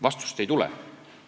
Vastust ei tule.